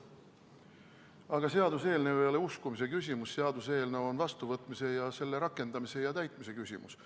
Aga seaduseelnõu ei ole uskumise küsimus, seaduseelnõu on vastuvõtmise ning selle rakendamise ja täitmise küsimus.